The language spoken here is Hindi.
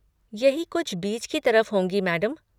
यही कुछ बीच की तरफ होंगी, मैडम।